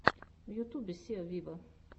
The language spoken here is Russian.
в ютюбе сиа виво